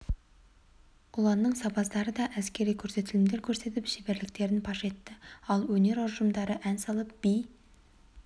ұланның сарбаздары да әскери көрсетілімдер көрсетіп шеберліктерін паш етті ал өнер ұжымдары ән салып би